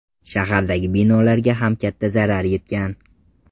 Shahardagi binolarga ham katta zarar yetgan.